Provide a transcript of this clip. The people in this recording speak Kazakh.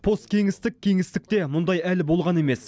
посткеңістік кеңістікте мұндай әлі болған емес